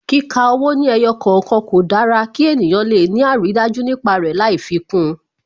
Kíka owó ní ẹyọ kọ̀okan, kò dára kí ènìyàn le ni aridaju nípa rẹ lai fi kún un